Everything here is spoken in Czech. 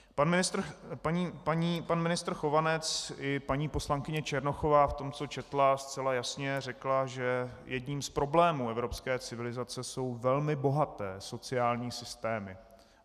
Pan ministr Chovanec i paní poslankyně Černochová v tom, co četla, zcela jasně řekla, že jedním z problémů evropské civilizace jsou velmi bohaté sociální systémy.